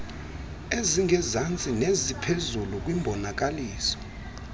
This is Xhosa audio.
ezingezantsi neziphezulu kwimbonakaliso